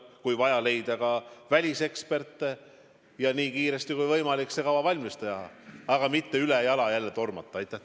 Kui vaja, tuleb leida ka väliseksperte, ja nii kiiresti kui võimalik see kava valmis teha, aga mitte jälle ülejala tormata.